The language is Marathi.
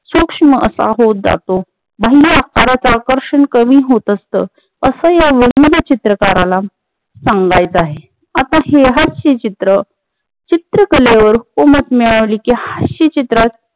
सुक्ष्म असा होत जातो बहुधा फारच आकर्षण कमी होत असत अस या व्यंग चित्रकाराला सांगायचे आहे आता हे हास्य चित्र चित्रकलेवर उमटण्याआधी त्या हास्य चित्रात